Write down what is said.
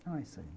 Então, é isso aí.